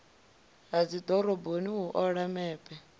ha dzidoroboni u ola mepe